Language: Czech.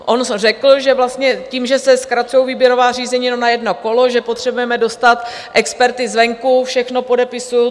On řekl, že vlastně tím, že se zkracují výběrová řízení jenom na jedno kolo, že potřebujeme dostat experty zvenku - všechno podepisuji.